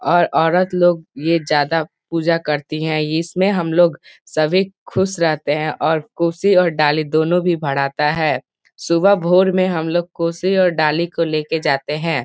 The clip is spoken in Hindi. और औरत लोग ये ज्यादा पुजा करती है इसमें हम लोग सभी खुश रहते है और कोशी और डाली दोनों भी भराता है सुबह भोर में हम लोग कोशी और डाली को लेकर जाते हैं।